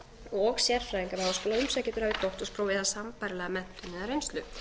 og sérfræðinga við háskóla að umsækjendur hafi doktorspróf eða sambærilega menntun eða reynslu